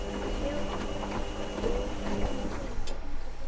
Söguhetju vora dreymir draum sem brýtur blað